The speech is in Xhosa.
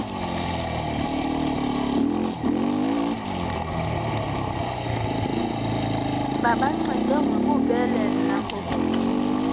babancede ngobubele nangobuchule